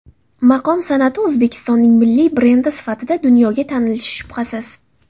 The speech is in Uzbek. Maqom san’ati O‘zbekistonning milliy brendi sifatida dunyoga tanilishi, shubhasiz.